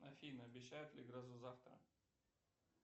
афина обещают ли грозу завтра